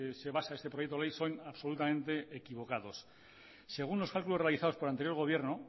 se basa este proyecto de ley son absolutamente equivocados según los cálculos realizados por el anterior gobierno